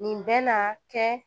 Nin bɛ na kɛ